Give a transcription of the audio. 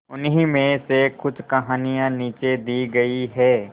उन्हीं में से कुछ कहानियां नीचे दी गई है